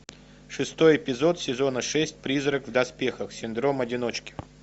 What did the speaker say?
шестой эпизод сезона шесть призрак в доспехах синдром одиночки